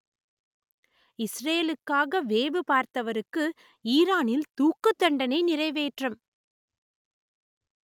இஸ்ரேலுக்காக வேவு பார்த்தவருக்கு ஈரானில் தூக்குத்தண்டனை நிறைவேற்றம்